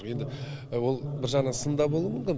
енді ол бір жағынан сын да болуы мүмкін